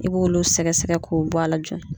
I b'olu sɛgɛsɛgɛ k'o bɔ a la joona.